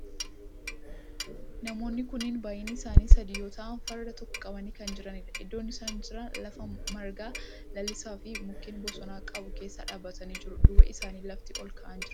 Namoonni kunneen baayyinni isaanii sadi yoo ta'u farda tokko qabanii kan jiranidha. Iddoon isaan jiran lafa marga lalisaa fi mukkeen bosonaa qabu keessaa dhaabbatanii jiru. Duuba isaanii lafti olka'aan jira.